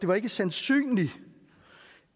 var sandsynligt